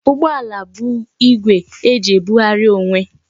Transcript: Ụgbọala bụ igwe eji ebughari onwe